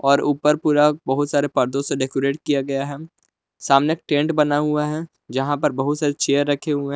और ऊपर पूरा बहुत सारे पर्दो से डेकोरेट किया गया है सामने टेंट बना हुआ है यहां पर बहुत सारे चेयर रखे हुए हैं।